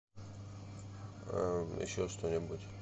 еще что нибудь